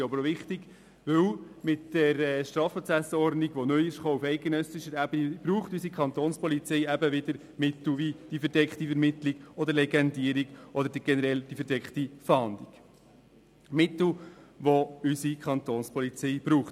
Dies auch deshalb, weil mit der StPO, die auf eidgenössischer Ebene neu in Kraft gesetzt wurde, unsere Kapo wieder Mittel wie die verdeckte Ermittlung, die Legendierung oder generell die verdeckte Fahndung braucht.